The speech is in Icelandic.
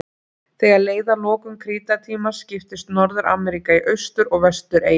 Þegar leið að lokum krítartímans skiptist Norður-Ameríka í austur- og vestureyjar.